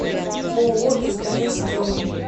ооо сдс строй